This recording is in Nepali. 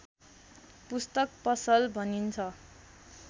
पुस्तक पसल भनिन्छ